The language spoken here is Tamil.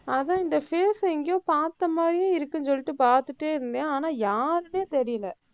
அதான் இந்த face அ எங்கேயோ பாத்த மாதிரியே இருக்குன்னு சொல்லிட்டு பாத்துட்டே இருந்தேன். ஆனா யாருன்னே தெரியல,